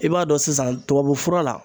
I b'a dɔn sisan tubabu fura la